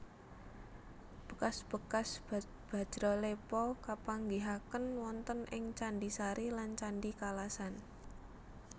Bekas bekas bajralepa kapanggihaken wonten ing candhi Sari lan candhi Kalasan